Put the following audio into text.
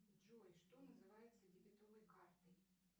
джой что называется дебетовой картой